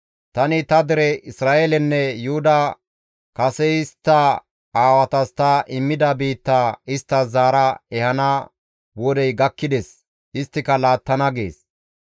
Tani ta dere Isra7eelenne Yuhuda kase istta aawatas ta immida biitta isttas zaara ehana wodey gakkides; isttika laattana» gees.